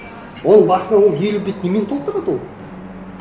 ол басына ол елу бет немен толтырады ол